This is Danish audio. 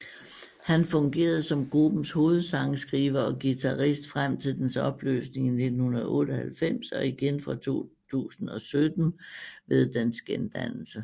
Han fungerede som gruppens hovedsangskriver og guitarist frem til dens opløsning i 1998 og igen fra 2017 ved dens gendannelse